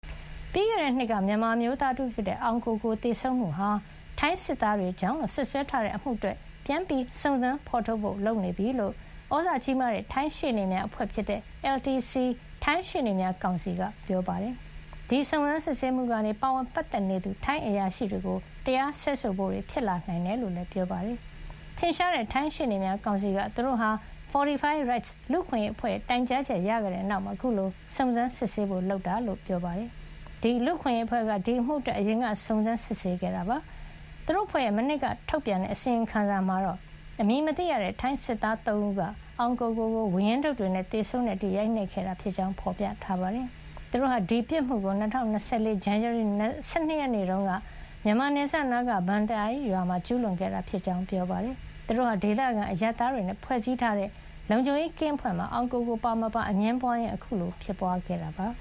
ပြီးခဲ့တဲ့နှစ်က မြန်မာအမျိုးသား တဦးဖြစ်တဲ့ အောင်ကိုကို သေဆုံးမှုဟာ ထိုင်းစစ်သား တွေကြောင့်လို့ စွပ်စွဲထားတဲ့ အမှုအတွက် ပြန်လည် စုံစမ်းဖေါ်ထုတ်ဖို့ လုပ်နေပြီဖြစ်ကြောင်း သြဇာကြီးတဲ့ ထိုင်းရှေ့နေများအဖွဲ့ဖြစ်တဲ့ LCT ထိုင်းရှေ့နေများကောင်စီက ပြောပါတယ်။ ဒီစုံစမ်း စစ်ဆေးမှုကနေ ပါဝင် ပတ်သက်နေသူ ထိုင်းအရာရှိတွေကို တရားစွဲဆိုဖို့တွေ ဖြစ်လာနိုင်တယ်လို့လည်း ပြောပါတယ်။ ထင်ရှားတဲ့ ထိုင်းရှေ့နေများကောင်စီက သူတို့ဟာ Fortify Rights လူ့အခွင့်ရေးအဖွဲ့ရဲ့ တိုင်ကြားချက် ရခဲ့တဲ့နောက်မှာ အခုလို စုံစမ်းစစ်ဆေးဖို့ လုပ်ဆောင်တာဖြစ်ကြောင်း ပြောပါတယ်။ ဒီလူ့အခွင့်ရေးအဖွဲ့က ဒီအမှုအတွက် အရင်က စုံစမ်း စစ်ဆေးခဲ့တာပါ။ သူတု့ိအဖွဲ့ရဲ့ မနှစ်က ထုတ်ပြန်တဲ့ အစီရင်ခံစာမှာတော့ အမည်မသိရတဲ့ ထိုင်းစစ်သား ၃ ဦးက အောင်ကိုကို-ကို ဝါးရင်းဒုတ်တွေနဲ့ သေဆုံးတဲ့အထိ ရိုက်နှက်ခဲ့တာဖြစ်ကြောင်း ဖေါ်ပြထားပါတယ်။ သူတို့ဟာ ဒီပြစ်မှုကို ၂၀၂၄ ဇန်နဝါရီ ၁၂ ရက်တုန်းက မြန်မာနယ်စပ်နားက Baan Tai ရွာမှာ ကျူးလွန်ခဲ့တာ ဖြစ်ကြောင်း ပြောပါတယ်။ သူတို့ဟာ ဒေသခံ အရပ်သားတွေနဲ့ ဖွဲ့စည်းထားတဲ့ လုံခြုံရေးကင်းအဖွဲ့မှာ အောင်ကိုကို ပါမပါ အငြင်းပွါးရင်း အခုလို ဖြစ်ပွါးခဲ့တာပါ